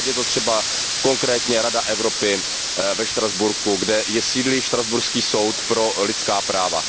Ať je to třeba konkrétně Rada Evropy ve Štrasburku, kde sídlí štrasburský soud pro lidská práva.